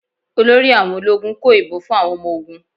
Olórí àwọn ológun kó ìbọn fún àwọn ọmọ ogún.